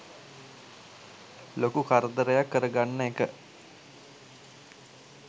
ලොකු කරදරයක් කරගන්න ඒක